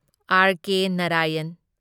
RK. Narayan